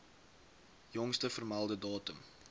jongste vermelde datum